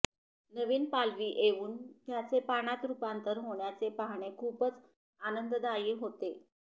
नवीन पालवी येऊन त्याचे पानात रूपांतर होण्याचे पाहणे खूपच आनंददायी होते